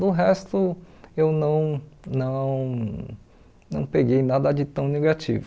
Do resto, eu não não não peguei nada de tão negativo.